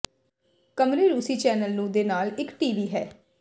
ਕਮਰੇ ਰੂਸੀ ਚੈਨਲ ਨੂੰ ਦੇ ਨਾਲ ਇੱਕ ਟੀ ਵੀ ਹੈ